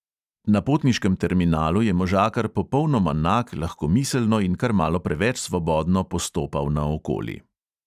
Na potniškem terminalu je možakar popolnoma nag lahkomiselno in kar malo preveč svobodno postopal naokoli.